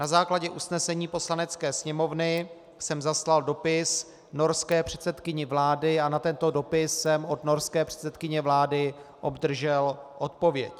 Na základě usnesení Poslanecké sněmovny jsem zaslal dopis norské předsedkyni vlády a na tento dopis jsem od norské předsedkyně vlády obdržel odpověď.